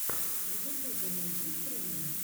в ютубе найти стримы